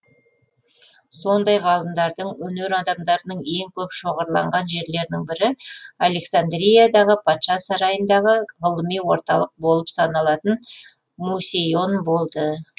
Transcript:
сондай ғалымдардың өнер адамдарының ең көп шоғырланған жерлерінің бірі алексаңдриядағы патша сарайындағы ғылыми орталық болып саналатын мусейон болды